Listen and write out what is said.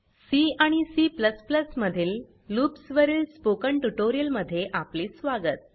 C आणि C मधील loops वरील स्पोकन ट्यूटोरियल मध्ये आपले स्वागत